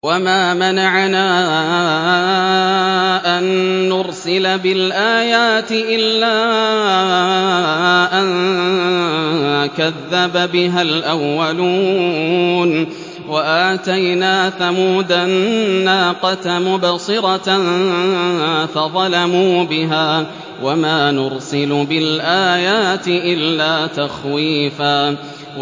وَمَا مَنَعَنَا أَن نُّرْسِلَ بِالْآيَاتِ إِلَّا أَن كَذَّبَ بِهَا الْأَوَّلُونَ ۚ وَآتَيْنَا ثَمُودَ النَّاقَةَ مُبْصِرَةً فَظَلَمُوا بِهَا ۚ وَمَا نُرْسِلُ بِالْآيَاتِ إِلَّا تَخْوِيفًا